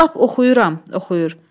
Lap oxuyuram, oxuyur.